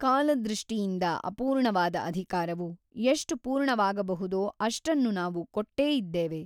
ಕಾಲದೃಷ್ಟಿಯಿಂದ ಅಪೂರ್ಣವಾದ ಅಧಿಕಾರವು ಎಷ್ಟು ಪೂರ್ಣವಾಗಬಹುದೋ ಅಷ್ಟನ್ನು ನಾವು ಕೊಟ್ಟೇ ಇದ್ದೇವೆ.